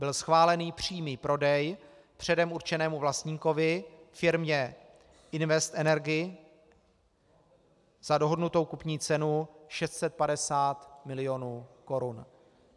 Byl schválen přímý prodej předem určenému vlastníkovi firmě Invest Energy za dohodnutou kupní cenu 650 milionů korun.